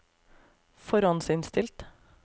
forhåndsinnstilt